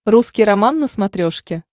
русский роман на смотрешке